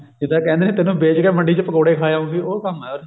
ਜਿੱਦਾਂ ਕਹਿੰਦੇ ਆ ਤੈਨੂੰ ਵੇਚ ਕੇ ਮੰਡੀ ਚ ਪਕੋੜੇ ਖਾ ਆਉਂਗੀ ਉਹ ਕੰਮ ਆ